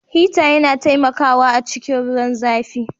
Hita yana taimakawa a cikin ruwan zãfi.